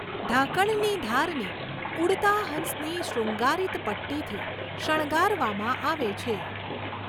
ઢાંકણની ધારને ઉડતા હંસની શૃંગારિત પટ્ટીથી શણગારવામાં આવે છે.